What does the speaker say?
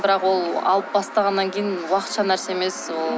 бірақ ол алып бастағаннан кейін уақытша нәрсе емес ол